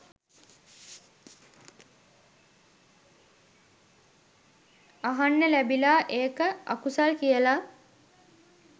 අහන්න ලැබිලා ඒක අකුසල් කියලා